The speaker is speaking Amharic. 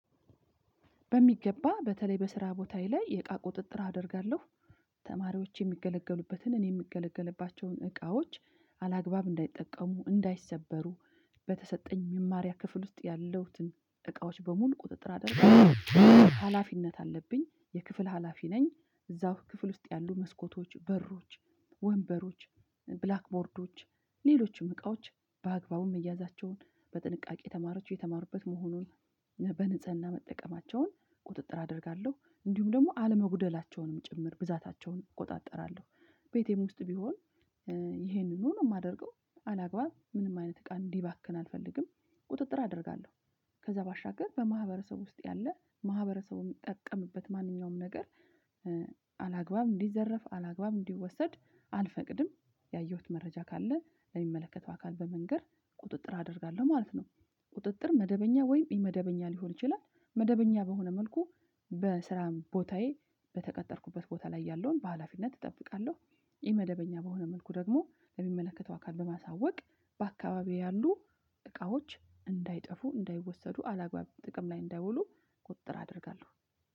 በሚገባ በተለይ በስራ ቦታዬ ላይ የእቃ ቁጥጥር አደርጋለሁ። ተማሪዎች የሚገለገሉበትን እኔ የምገለገልባቸውን እቃዎች አላግባብ እንዳይጠቀሙ፣ እንዳይሰበሩ በተሰጠኝ መማሪያ ክፍል ውስጥ ያለውትን እቃዎች በሙሉ ቁጥጥር አደርጋለሁ። ሀላፊነት አለብኝ የክፍል ሀላፊ ነኝ እዛው ክፍል ውስጥ ያሉ መስኮቶች በሮች ወንበሮች ብላክቦርዶች ሌሎችም እቃዎች በአግባቡም መያዛቸውን በጥንቃቄ ተማሪዎች የተማሩበት መሆኑን በንጽህና መጠቀማቸውን ቁጥጥር አደርጋለሁ። እንዲሁም ደግሞ አለመጉደላቸውንም ጭምር ብዛታቸውን እቆጣጠራለሁ። ቤቴም ውስጥ ቢሆን ይሄንኑ ነው የማደርገው አላግባብ ምንም አይነት እቃ እንዲባክን አልፈልግም። ቁጥጥር አደርጋለሁ። ከዛ ባሻገር በማህበረሰቡ ውስጥ ያለ ማህበረሰቡ የሚጠቀምበት ማንኛውም ነገር አላግባብ እንዲዘረፍ አላግባብ እንዲወሰድ አልፈቅድም ያየሁት መረጃ ካለ ለሚመለከተው አካል በመንገር ቁጥጥር አደርጋለሁ ማለት ነው። ቁጥጥር መደበኛ ወይም ኢመደበኛ ሊሆን ይችላል። መደበኛ በሆነ መልኩ በስራም ቦታዬ በተቀጠርኩበት ቦታ ላይ ያለውን በሃላፊነት እጠብቃለሁ። ኢመደበኛ በሆነ መልኩ ደግሞ ለሚመለከተው አካል በማሳወቅ በአካባቢው ያሉ እቃዎች እንዳይጠፉ፣ እንዳይወሰዱ አላግባብ ጥቅም ላይ እንዳይውሉ ቁጥር አደርጋለሁ።